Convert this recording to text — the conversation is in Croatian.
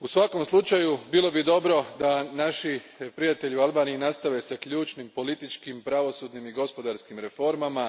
U svakom slučaju, bilo bi dobro da naši prijatelji u Albaniji nastave s ključnim političkim, pravosudnim i gospodarskim reformama,